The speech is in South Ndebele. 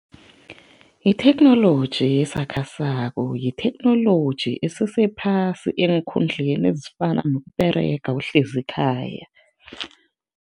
Itheknoloji esakhasako yitheknoloji esesephasi eenkhundleni ezifana nokUberega uhlezi ekhaya.